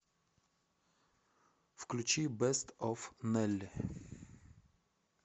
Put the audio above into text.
включи бэст оф нэлли